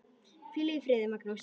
Hvíl í friði, Magnús.